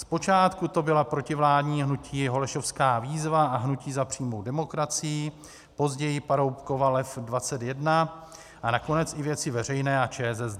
Zpočátku to byla protivládní hnutí Holešovská výzva a Hnutí za přímou demokracii, později Paroubkova Lev 21 a nakonec i Věci veřejné a ČSSD.